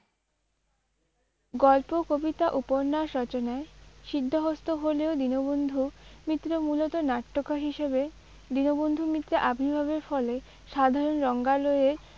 গল্প কবিতা উপন্যাস রচনায় সিদ্ধহস্ত হলেও দীনবন্ধু মিত্র মূলত নাট্যকার হিসেবে দীনবন্ধু মিত্রের আবির্ভাবের ফলে সাধারণ রঙ্গালয়ের